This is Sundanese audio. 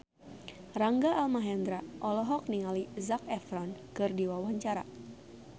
Rangga Almahendra olohok ningali Zac Efron keur diwawancara